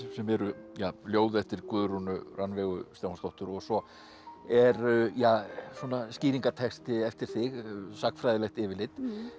sem eru ljóð eftir Guðrúnu Rannveigu Stefánsdóttur og svo er ja svona skýringartexti eftir þig sagnfræðilegt yfirlit